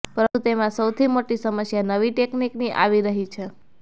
પરંતુ તેમાં સૌથી મોટી સમસ્યા નવી ટેકનિકની આવી રહી છે